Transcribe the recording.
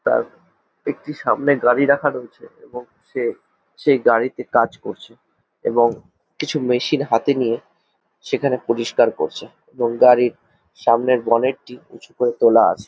তার একটি সামনে গাড়ি রাখা রয়েছে এবং সে সেই গাড়িতে কাজ করছে এবং কিছু মেশিন হাতে নিয়ে সেইখানে পরিষ্কার করছে এবং গাড়ির সামনের বনেট -টি উঁচু করে তোলা আছে ।